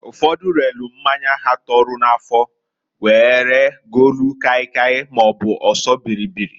Ụfodu relu mmanya ha tọrọ n'afụ, were golu kai kai maọbụ ọsọ bịrịbịrị.